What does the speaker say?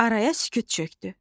Araya sükut çökdü.